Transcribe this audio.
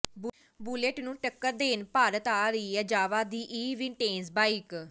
bullet ਨੂੰ ਟੱਕਰ ਦੇਣ ਭਾਰਤ ਆ ਰਹੀ ਹੈ ਜਾਵਾ ਦੀ ਇਹ ਵਿੰਟੇਜ ਬਾਈਕ